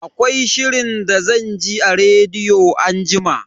Akwai shirin da zan ji a rediyo anjima.